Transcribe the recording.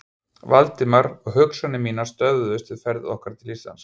Valdimar, og hugsanir mínar stöðvuðust við ferð okkar til Íslands.